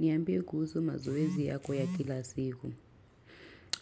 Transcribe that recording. Niambie kuhusu mazoezi yako ya kila siku.